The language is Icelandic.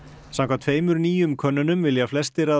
samkvæmt tveimur nýjum könnunum vilja flestir að